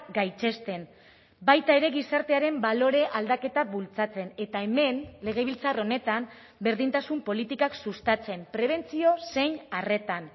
gaitzesten baita ere gizartearen balore aldaketa bultzatzen eta hemen legebiltzar honetan berdintasun politikak sustatzen prebentzio zein arretan